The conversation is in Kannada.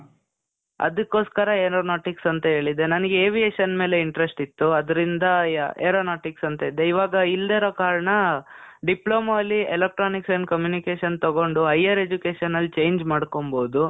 ಅದಕ್ಕೋಸ್ಕರ aeronautics ಅಂತ ಹೇಳಿದ್ದೆ. ನನಿಗೆ aviation ಮೇಲೆ interest ಇತ್ತು. ಅದ್ರಿಂದ aeronautics ಅಂತ ಇದ್ದೆ. ಇವಾಗ ಇಲ್ಲಿರೋ ಕಾರಣ, ಡಿಪ್ಲೋಮಾ ಅಲ್ಲಿ electronics and communication ತಗೊಂಡು higher education ಅಲ್ಲಿ change ಮಾಡ್ಕೊಂಬೋದು.